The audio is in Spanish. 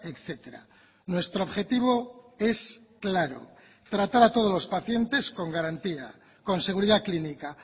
etcétera nuestro objetivo es claro tratar a todos los pacientes con garantía con seguridad clínica